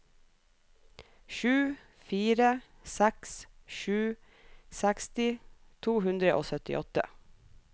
sju fire seks sju seksti to hundre og syttiåtte